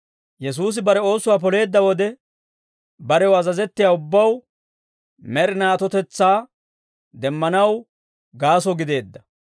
Yesuusi bare oosuwaa poleedda wode, barew azazettiyaa ubbaw med'inaa atotetsaa demmanaw gaaso gideedda.